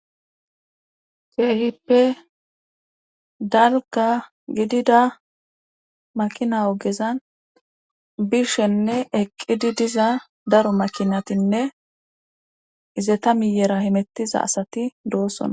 Keehippe dalga gidida makina ogezan bishenne eqqidi diza daro makinatinne izeta miyera himettiza asati doossonna